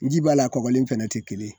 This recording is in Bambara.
N ji b'a la kɔgɔlen fɛnɛ te kelen.